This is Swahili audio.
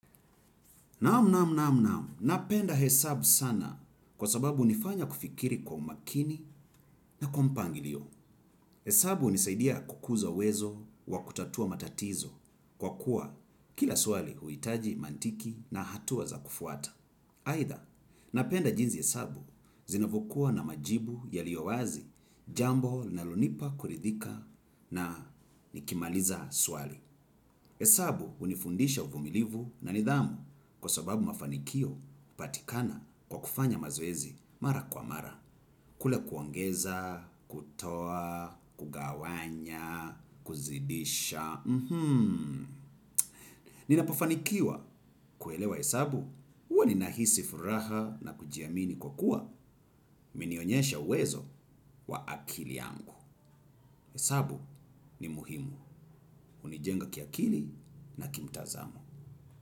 Naam, naam, naam, naam, napenda hesabu sana kwa sababu hunifanya kufikiri kwa umakini na kwa mpangilio. Hesabu hunisaidia kukuza uwezo wa kutatua matatizo kwa kuwa kila swali huhitaji mantiki na hatua za kufuata. Aidha, napenda jinsi hesabu zinavyokuwa na majibu yaliyowazi jambo linalonipa kuridhika na nikimaliza swali. Hesabu hunifundisha uvumilivu na nidhamu kwa sababu mafanikio yanapatikana kwa kufanya mazoezi mara kwa mara. Kule kuongeza, kutoa, kugawanya, kuzidisha. Ninapofanikiwa kuelewa hesabu, huwa ninahisi furaha na kujiamini kwa kuwa imenionyesha uwezo wa akili yangu. Yesabu ni muhimu. Hunijenga kiakili na kimtazamo.